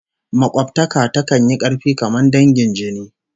Makobtaka takan yi karfi kamar dangin jini